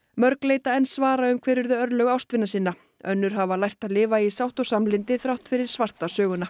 mörg leita enn svara um hver urðu örlög ástvina sinna önnur hafa lært að lifa í sátt og samlyndi þrátt fyrir svarta söguna